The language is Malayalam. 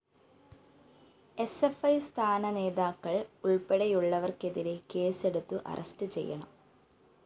സ്‌ ഫ്‌ ഇ സംസ്ഥാന നേതാക്കള്‍ ഉള്‍പ്പെടെയുള്ളവര്‍ക്കെതിരെ കേസെടുത്ത് അറസ്റ്റു ചെയ്യണം